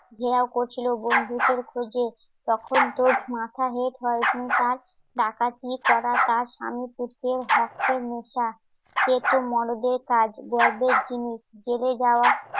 খোঁজে তখন তো মাথা হেট হয় তার ডাকাতি করা তার স্বামীর ভক্তের নেশা এতো মরদেহের কাজ গর্বের জিনিস